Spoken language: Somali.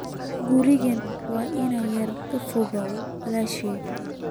Gurigu waa in yar oo fog walaashay